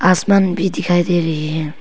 आसमान भी दिखाई दे रही है।